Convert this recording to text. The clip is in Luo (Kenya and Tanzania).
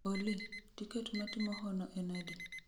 Olly, tiket ma timo hono en adi